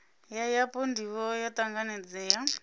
ya yapo ndivho yo tanganelaho